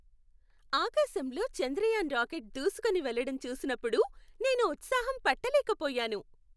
ఆకాశంలో చంద్రయాన్ రాకెట్ దూసుకుని వెళ్ళటం చూసినప్పుడు నేను ఉత్సాహం పట్టలేకపోయాను.